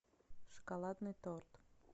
шоколадный торт